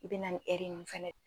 I be na nin ɛri nin fɛnɛ